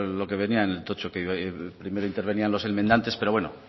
lo que venía en el tocho que primero intervenían los enmendantes pero bueno